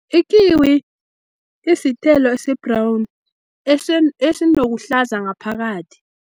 Ikiwi isithelo esi-brown esinokuhlaza ngaphakathi.